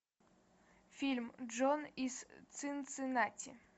фильм джон из цинциннати